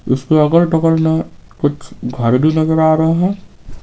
इसके अगल बगल में कुछ घर भीनजर आ रहे हैं।